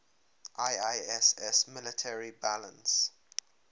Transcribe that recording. iiss military balance